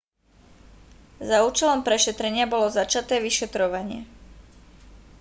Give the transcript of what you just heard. za účelom prešetrenia bolo začaté vyšetrovanie